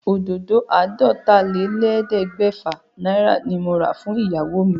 Òdòdó àádọ́tálélẹ́ẹ̀ẹ́dẹ́gbẹ́fà náírà ni mo rà fún ìyàwó mi.